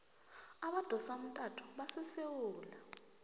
abadosa umtato basesewula